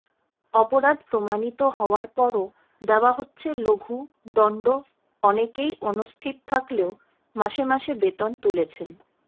অপরাধ প্রমাণিত হওয়ার পরও দেওয়া হচ্ছে লঘু দণ্ডঅনেকেই অনুস্থিত থাকলেও মাসে মাসে বেতন তুলেছেন